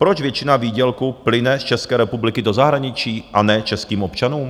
Proč většina výdělku plyne z České republiky do zahraničí, a ne českým občanům?